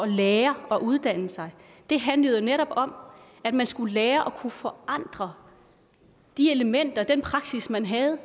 lære og at uddanne sig handlede jo netop om at man skulle lære at kunne forandre de elementer den praksis man havde